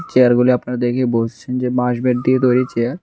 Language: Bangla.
চেয়ারগুলি আপনারা দেখে বুঝছেন যে বাঁশ বেত দিয়ে তৈরি চেয়ার।